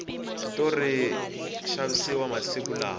switori swa xavisa masiku lawa